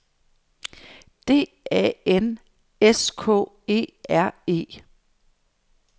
D A N S K E R E